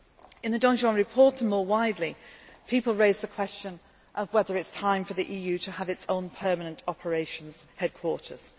practice. In the Danjean report, and more widely, people raise the question of whether it is time for the EU to have its own permanent operations headquarters.